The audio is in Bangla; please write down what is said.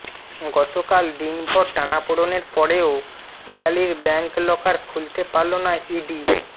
গতকাল দিনভর টানাপোড়েনের পরেও পিয়ালির ব্যাঙ্ক লকার খুলতে পারল না ইডি